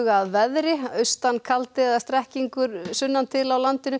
að veðri austan kaldi eða strekkingur sunnan til á landinu